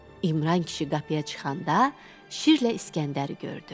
İmran kişi qapıya çıxanda Şirlə İskəndəri gördü.